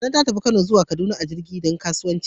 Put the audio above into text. Nana ta tafi Kaduna zuwa Kano a jirgin kasa dan kasuwanci.